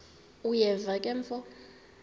uyeva ke mfo